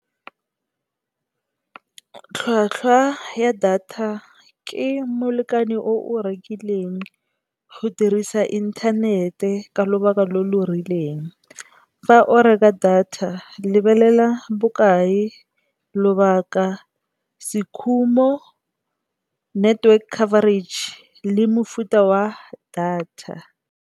Tlhwatlhwa ya data ke molekane o o rekileng go dirisa inthanete ka lobaka lo lo rileng. Fa o reka data lebelela bokae, lobaka, se khumo, network coverage le mofuta wa data.